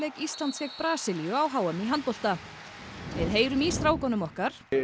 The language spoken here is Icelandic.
Íslands gegn Brasilíu á h m í handbolta við heyrum í strákunum okkar